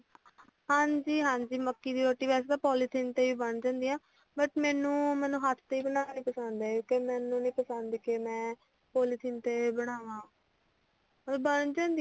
ਹਾਜੀ ਹਾਂਜੀ ਮੱਕੀ ਦੀ ਰੋਟੀ ਵੈਸੇ ਤਾਂ ਪੋਲੀਥੀਨ ਤੇ ਹੀ ਬਣਦੀ ਹੁੰਦੀ but ਮੈਨੂੰ ਹੱਥ ਤੇ ਹੀ ਬਨਾਨੀ ਪਸੰਦ ਆ ਕਿਉਂਕਿ ਮੈਨੂੰ ਨੀ ਪਸੰਦ ਕੇ ਮੈਂ ਪੌਲੀਥੀਨ ਤੇ ਬਨਾਵਾ ਉਂਝ ਬਣ ਜਾਂਦੀ ਆ